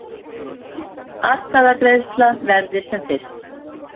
Atkvæðagreiðslan verði sem fyrst